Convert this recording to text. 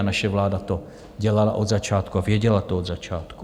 A naše vláda to dělala od začátku a věděla to od začátku.